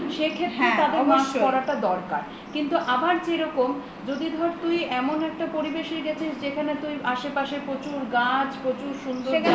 সেক্ষত্রে তাদের mask পরাটা দরকার কিন্তু আবার যেরকম যদি ধর তুই এমন একটা পরিবেশে গেছিস যেখানে তোর আসে পাশে প্রচুর গাছ প্রচুর সুন্দর জায়গা